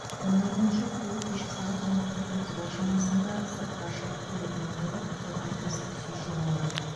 оның айтуынша күйеуі кешкі сағат он тоғыз отыздар шамасында сыртқа шығып келетінін айтып содан із түзсіз жоғалған